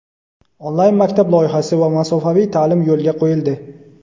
"Onlayn maktab" loyihasi va masofaviy ta’lim yo‘lga qo‘yildi.